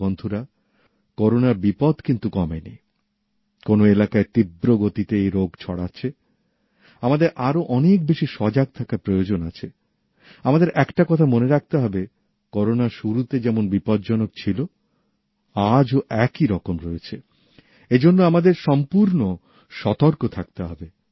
কিন্তু বন্ধুরা করোনার বিপদ কিন্তু কমেনি কোনও কোনও এলাকায় তীব্র গতিতে এই রোগ ছড়াচ্ছেআমাদের আরও অনেক বেশি সজাগ থাকার প্রয়োজন আছেআমাদের একটা কথা মনে রাখতে হবে করোনা শুরুতে যেমন বিপজ্জনক ছিলো আজও একই রকম রয়েছেএজন্য আমাদের সম্পূর্ণ সতর্ক থাকতে হবে